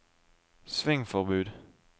svingforbud